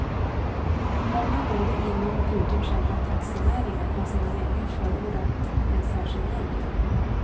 Många både inom och utom själva taxinäringen har sedan länge förordat en särskild nämnd.